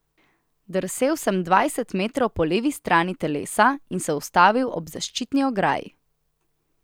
Drsel sem dvajset metrov po levi strani telesa in se ustavil ob zaščitni ograji.